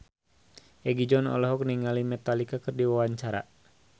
Egi John olohok ningali Metallica keur diwawancara